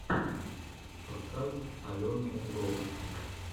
подкаст алены лов